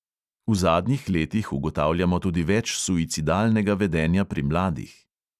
V zadnjih letih ugotavljamo tudi več suicidalnega vedenja pri mladih.